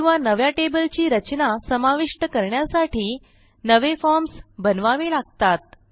किंवा नव्या टेबलची रचना समाविष्ट करण्यासाठी नवे फॉर्म्स बनवावे लागतात